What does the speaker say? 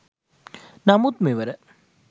නමුත් මෙවර